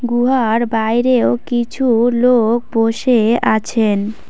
গুহার বাইরেও কিছু লোক বসে আছেন।